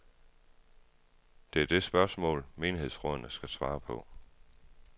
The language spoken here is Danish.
Det er det spørgsmål, menighedsrådene skal svare på.